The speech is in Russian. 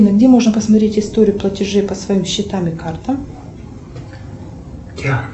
где можно посмотреть историю платежей по своим счетам и картам